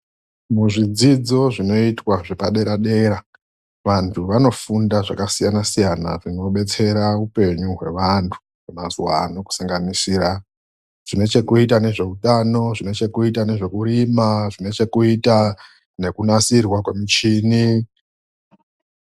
Muzvidzidzo zvinoitwa zveepadera ,vanhu vanofunda zvakasiyana siyana zvinodetsera mundaramo yaanhu. Zvinosanganisira ngezvekuita nehutano, zvekurima uye nekunasirwa kwemichini.